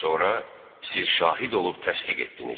Sonra siz şahid olub təsdiq etdiniz.